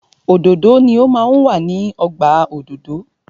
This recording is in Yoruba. Òdòdó ni o máa ń wà ní ọgbà òdòdó.